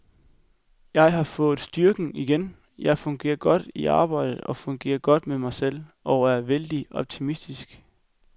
Jeg har fået styrke igen, jeg fungerer godt i arbejdet og fungerer godt med mig selv, og er vældig optimistisk.